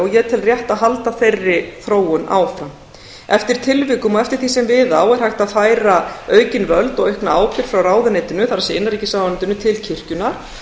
ég tel rétt að halda þeirri þróun áfram eftir tilvikum og eftir því sem við á er hægt að færa aukin völd og aukna ábyrgð frá ráðuneytinu það er innanríkisráðuneytinu til kirkjunnar